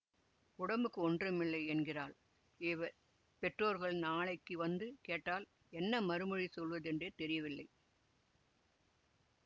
உடம்புக்கு ஒன்றுமில்லை என்கிறாள் இவள் பெற்றோர்கள் நாளைக்கு வந்து கேட்டால் என்ன மறுமொழி சொல்வதென்றே தெரியவில்லை